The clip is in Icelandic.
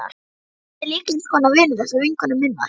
Róbert er líka eins konar vinur þessarar vinkonu minnar.